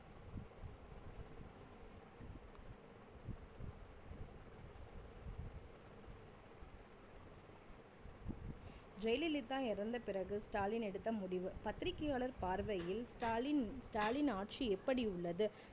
ஜெயலலிதா இறந்த பிறகு ஸ்டாலின் எடுத்த முடிவு பத்திரிக்கையாளர் பார்வையில் ஸ்டாலின் ஸ்டாலின் ஆட்சி எப்படி உள்ளது?